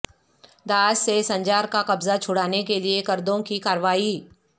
داعش سے سنجار کا قبضہ چھڑانے کے لیے کردوں کی کارروائی